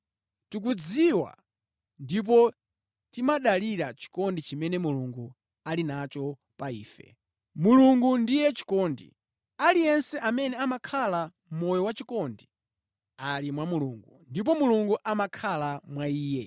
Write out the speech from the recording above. Tikudziwa ndipo timadalira chikondi chimene Mulungu ali nacho pa ife. Mulungu ndiye chikondi. Aliyense amene amakhala moyo wachikondi, ali mwa Mulungu ndipo Mulungu amakhala mwa iye.